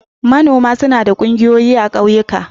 Manoma suna da ƙungiyoyi a ƙauyuka.